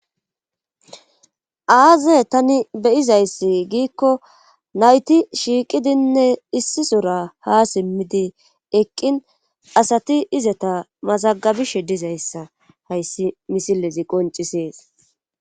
Aaze tani beyizayssi giikko nayti shiiqidinne issisora ha simmidi eqqin asati izata mazagabishe dizayssa hayssi misilezi qoncisees.